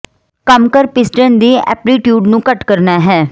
ਕੰਮ ਕਰ ਪਿਸਟਨ ਦੇ ਐਪਲੀਟਿਊਡ ਨੂੰ ਘੱਟ ਕਰਨਾ ਹੈ